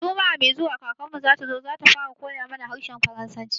Juma'a mai zuwa kakarmu zatazo, zata fara koya mana harshen faransanci